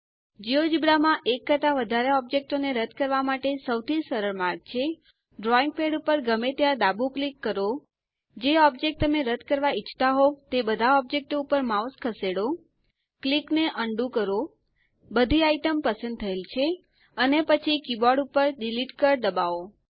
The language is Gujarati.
જિયોજેબ્રા માં એક કરતા વધારે ઓબ્જેક્ટો ને રદ કરવા માટે સૌથી સરળ માર્ગ છે ડ્રોઈંગ પેડ ઉપર ગમે ત્યાં ડાબું ક્લિક કરો જે ઓબ્જેક્ટ તમે રદ કરવા ઈચ્છતા હોઉં તે બધા ઓબ્જેક્ટો ઉપર માઉસ ખસેડો ક્લિક ને અન્ડું કરો બધી આઈટમ પસંદ થયેલ છે અને પછી કીબોર્ડ ઉપર ડિલીટ કળ દબાવો